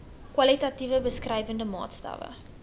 kwalitatiewe beskrywende maatstawwe